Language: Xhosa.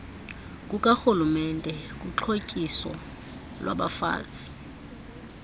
kukarhulumente kuxhotyiso lwabafazi